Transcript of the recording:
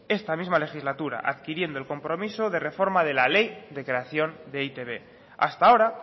en esta misma legislatura adquiriendo el compromiso de reforma de la ley de creación de e i te be hasta ahora